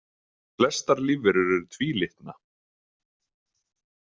Flestar lífverur eru tvílitna.